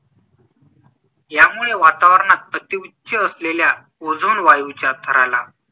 यामुळे वातावरणात अतिउच्च असलेल्या ओझोन वायूच्या थराला